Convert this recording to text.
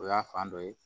O y'a fan dɔ ye